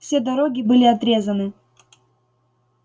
все дороги были отрезаны